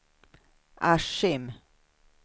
Askim